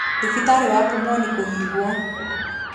Thibitarĩ wa Pumwani kũhingwo